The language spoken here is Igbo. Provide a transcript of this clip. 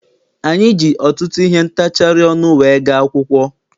Anyị ji ọtụtụ ihe ntachari ọnụ wee gaa akwụkwọ.